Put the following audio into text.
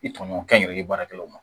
I tɔɲɔgɔn kɛnyɛrɛye baarakɛlaw ma